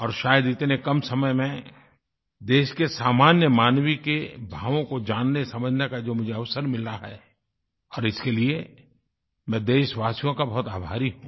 और शायद इतने कम समय में देश के सामान्य मानव के भावों को जाननेसमझने का जो मुझे अवसर मिला है और इसके लिए मैं देशवासियों का बहुत आभारी हूँ